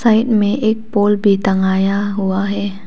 Side में एक pole भी टंगाया हुआ है।